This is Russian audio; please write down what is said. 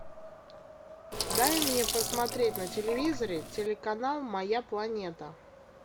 дай мне посмотреть на телевизоре телеканал моя планета